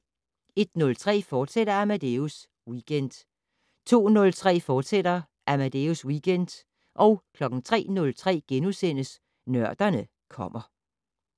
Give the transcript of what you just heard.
01:03: Amadeus Weekend, fortsat 02:03: Amadeus Weekend, fortsat 03:03: Nørderne kommer *